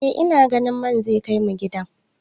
Eh ina ganin man zai kai mu gida.